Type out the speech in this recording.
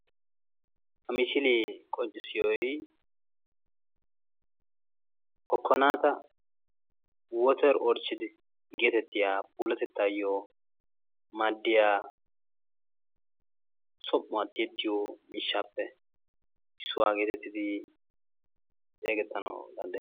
ha misilee qonccissiyoy Kokkanata woter erichchidi getettiya pullattettaayoo maadiyaa som''uwaa tiyettiyo miishshappe issuwaa geetetdi xessettanaw danddayees.